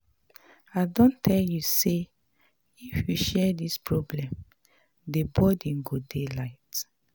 I don tell you sey if you share di problem, the burden go dey light.